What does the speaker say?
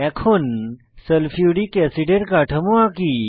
এখন সালফিউরিক অ্যাসিডের কাঠামো আঁকি